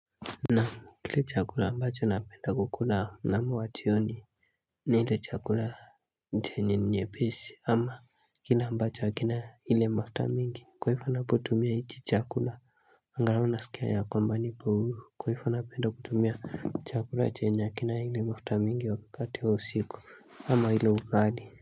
Naam. Kile chakula ambacho napenda kukula mnamo wa jioni, ni ile chakula yenye nyepesi ama kile ambacho hakina ile mafuta mingi kwa hivyo anapotumia hiki chakula Ingawa nasikia ya kwamba nipo huru kwa hivyo napenda kutumia chakula chenye hakina ile mafuta mingi wakati wa usiku ama ile ugali.